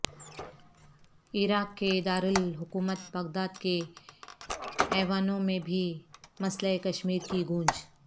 عراق کے دارالحکومت بغداد کے ایوانوں میں بھی مسئلہ کشمیر کی گونج